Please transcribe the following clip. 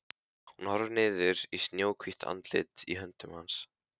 Hún horfir niður í snjóhvítt andlitið í höndum hans.